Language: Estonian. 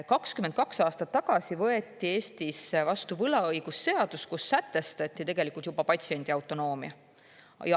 22 aastat tagasi võeti Eestis vastu võlaõigusseadus, kus sätestati tegelikult juba patsiendi autonoomia.